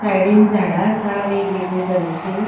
साइडीन झाडा आसा वेग वेगळे तरेची.